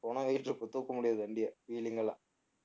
பொணம் weight இருக்கும் தூக்க முடியாது வண்டிய wheeling எல்லாம்